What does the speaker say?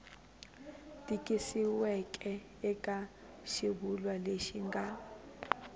tikisiweke eka xivulwa lexi nga